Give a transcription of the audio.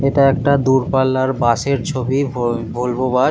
এটা একটা দূরপাল্লার বাস এর ছবি ভল ভলভো বাস --